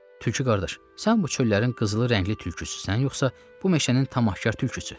Tülkü qardaş, sən bu çöllərin qızılı rəngli tülküsüsən, yoxsa bu meşənin tam axkar tülküsü?